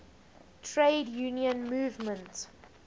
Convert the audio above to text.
trade union movement